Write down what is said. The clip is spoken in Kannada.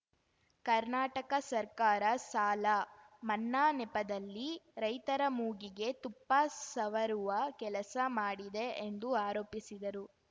ಕರ್ನಾಟಕ ಸರ್ಕಾರ ಸಾಲ ಮನ್ನಾ ನೆಪದಲ್ಲಿ ರೈತರ ಮೂಗಿಗೆ ತುಪ್ಪ ಸವರುವ ಕೆಲಸ ಮಾಡಿದೆ ಎಂದು ಆರೋಪಿಸಿದರು